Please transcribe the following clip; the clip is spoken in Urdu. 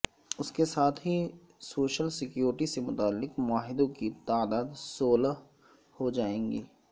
اس کے ساتھ ہی سوشل سیکورٹی سے متعلق معاہدوں کی تعداد سولہ ہوجائے گی